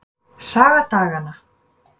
Saga daganna.